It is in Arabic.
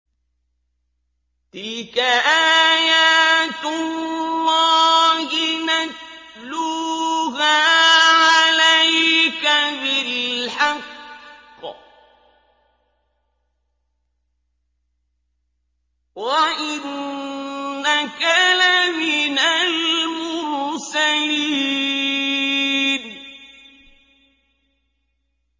تِلْكَ آيَاتُ اللَّهِ نَتْلُوهَا عَلَيْكَ بِالْحَقِّ ۚ وَإِنَّكَ لَمِنَ الْمُرْسَلِينَ